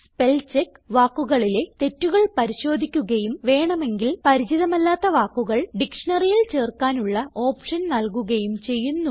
spellcheck വാക്കുകളിലെ തെറ്റുകൾ പരിശോധിക്കുകയും വേണമെങ്കിൽ പരിചിതമല്ലാത്ത വാക്കുകൾ ഡിക്ഷ്ണറിയിൽ ചേർക്കാനുള്ള ഓപ്ഷൻ നല്കുകയും ചെയ്യുന്നു